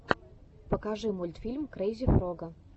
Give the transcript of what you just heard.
покажи мультфильм крейзи фрога